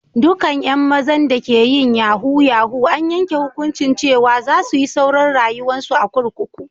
Dukan yan mazan da ke yin yahoo -yahoo an yanke hukunci cewa za su yi sauran rayuwa'n su a'kurkuku.